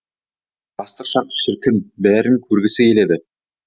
жастық шақ шіркін бәрін көргісі келеді